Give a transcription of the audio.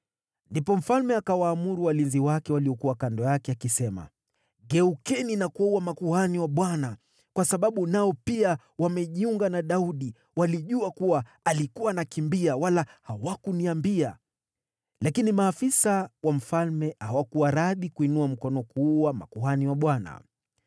Ndipo mfalme akawaamuru walinzi wake waliokuwa kando yake: “Geukeni na kuwaua makuhani wa Bwana , kwa sababu nao pia wamejiunga na Daudi. Walijua kuwa alikuwa anakimbia, wala hawakuniambia.” Lakini maafisa wa mfalme hawakuwa radhi kuinua mkono kuwaua makuhani wa Bwana .